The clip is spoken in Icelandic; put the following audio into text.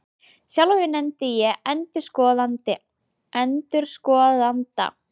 Sjálfan mig nefni ég ENDURSKOÐANDA